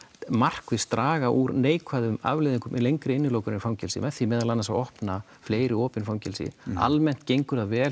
markvisst draga úr neikvæðum afleiðingum lengri innilokunar í fangelsi með því meðal annars að opna fleiri opin fangelsi almennt gengur það vel